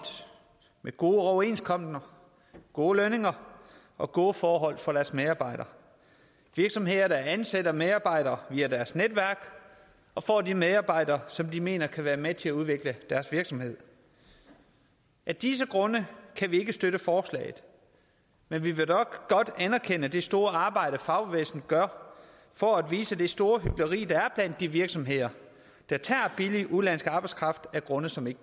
med gode overenskomster gode lønninger og gode forhold for deres medarbejdere virksomheder der ansætter medarbejdere via deres netværk og får de medarbejdere som de mener kan være med til at udvikle deres virksomhed af disse grunde kan vi ikke støtte forslaget men vi vil godt anerkende det store arbejde fagbevægelsen gør for at vise det store hykleri der er blandt de virksomheder der tager billig udenlandsk arbejdskraft af grunde som ikke